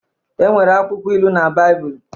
E nwere akwụkwọ Ilu na Baịbụl